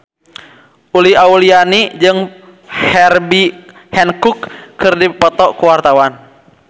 Uli Auliani jeung Herbie Hancock keur dipoto ku wartawan